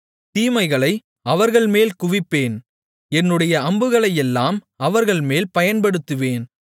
தீமைகளை அவர்கள்மேல் குவிப்பேன் என்னுடைய அம்புகளையெல்லாம் அவர்கள்மேல் பயன்படுத்துவேன்